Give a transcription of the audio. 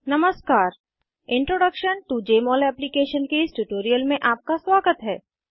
नमस्कार introduction to Jmol application के इस ट्यूटोरियल में आपका स्वागत है